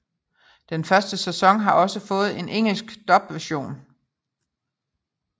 Den første sæson har også fået en engelsk dub version